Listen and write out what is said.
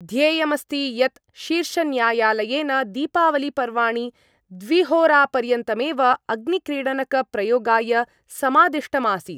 ध्येयमस्ति यत् शीर्षन्यायालयेन दीपावलिपर्वाणि द्विहोरापर्यन्तमेव अग्निक्रीडनकप्रयोगाय समादिष्टमासीत्।